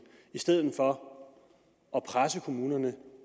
i stedet for at presse kommunerne